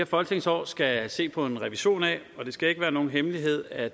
folketingsår skal se på en revision af det skal ikke være nogen hemmelighed at